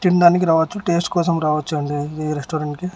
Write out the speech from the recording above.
తిండానికి రావచ్చు టెస్ట్ కోసం రావచ్చు అండి ఈ రెస్టారెంట్ కి.